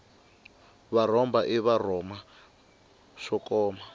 va rhomba hi swirhoma swo koma